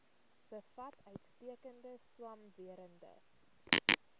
bevat uitstekende swamwerende